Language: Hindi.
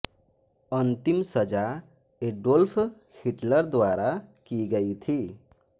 अंतिम सजा एडोल्फ हिटलर द्वारा की गई थी